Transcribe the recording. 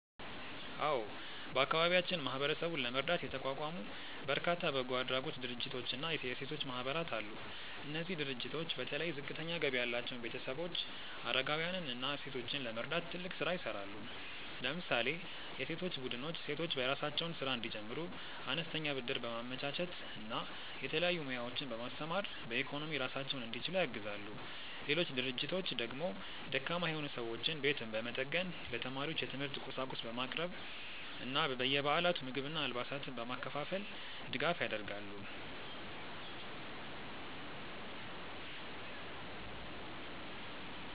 አዎ፣ በአካባቢያችን ማህበረሰቡን ለመርዳት የተቋቋሙ በርካታ በጎ አድራጎት ድርጅቶችና የሴቶች ማህበራት አሉ። እነዚህ ድርጅቶች በተለይ ዝቅተኛ ገቢ ያላቸውን ቤተሰቦች፣ አረጋውያንን እና ሴቶችን ለመርዳት ትልቅ ስራ ይሰራሉ። ለምሳሌ የሴቶች ቡድኖች ሴቶች የራሳቸውን ስራ እንዲጀምሩ አነስተኛ ብድር በማመቻቸት እና የተለያዩ ሙያዎችን በማስተማር በኢኮኖሚ ራሳቸውን እንዲችሉ ያግዛሉ። ሌሎች ድርጅቶች ደግሞ ደካማ የሆኑ ሰዎችን ቤት በመጠገን፣ ለተማሪዎች የትምህርት ቁሳቁስ በማቅረብ እና በየበዓላቱ ምግብና አልባሳትን በማከፋፈል ድጋፍ ያደርጋሉ።